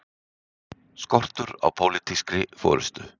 Skortur á pólitískri forystu